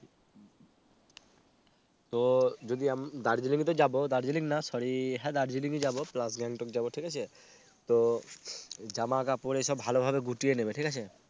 তো যদি আম Darjeeling ই তো যাব Darjeeling না Sorry হ্যাঁ Darjeeling ই যাবো PlusGangtok যাব ঠিক আছে তো জামা কাপড় এইসব ভালোভাবে গুটিয়ে নেবে ঠিক আছে